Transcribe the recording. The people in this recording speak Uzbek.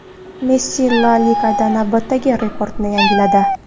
Messi La Ligada navbatdagi rekordni yangiladi.